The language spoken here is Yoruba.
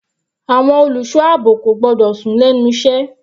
Àwọn olùṣọ́ àbò kò gbọ́dọ̀ sùn lẹ́nu iṣẹ́.